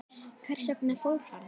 Hvers vegna fór hann?